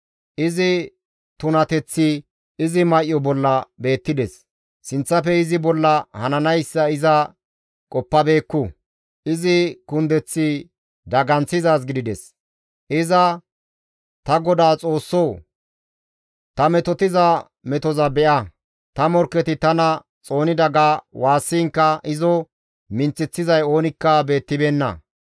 Izi tunateththi izi may7o bolla beettides; sinththafe izi bolla hananayssa iza qoppabeekku; izi kundeththi daganththizaaz gidides; iza, «Ta Godaa Xoossoo! Ta metotiza metoza be7a; ta morkketi tana xoonida» ga woossiinkka izo minththeththizay oonikka beettibeenna.